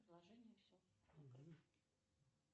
предложения все